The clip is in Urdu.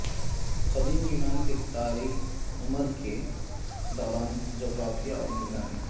قدیم یونان کے تاریک عمر کے دوران جغرافیہ اور نگرانی